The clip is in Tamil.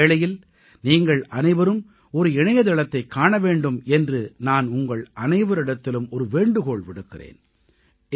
இந்த வேளையில் நீங்கள் அனைவரும் ஒரு இணையதளத்தைக் காண வேண்டும் என்று நான் உங்கள் அனைவரிடத்திலும் ஒரு வேண்டுகோள் விடுக்கிறேன்